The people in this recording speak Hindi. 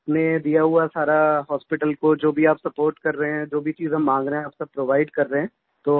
आपने दिया हुआ सारा हॉस्पिटल को जो भी आप सपोर्ट कर रहे हैं जो भी चीज़ हम माँग रहे हैं आप सब प्रोवाइड कर रहे हैं